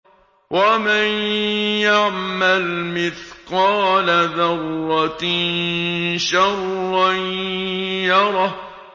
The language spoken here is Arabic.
وَمَن يَعْمَلْ مِثْقَالَ ذَرَّةٍ شَرًّا يَرَهُ